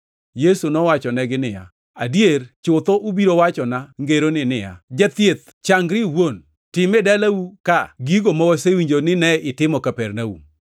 Yesu nowachonegi niya, “Adier chutho ubiro wachona ngeroni ni, ‘Jathieth, changri iwuon! Tim e dalau ka gigo ma wasewinjo ni ne itimo Kapernaum.’ ”